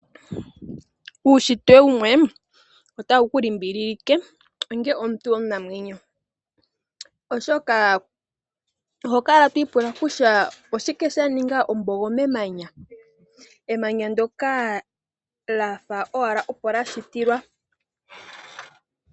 Ushitwe wumwe otawu ku limbililike onge omuntu omunamwenyo oshoka oho kala twipula kusha oshike sha ninga ombogo memanya ,emanya ndoka lyafa owala opo la shitilwa